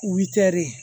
U witɛri